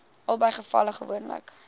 albei gevalle gewoonlik